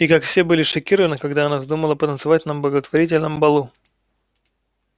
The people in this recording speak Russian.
и как все были шокированы когда она вздумала потанцевать на благотворительном балу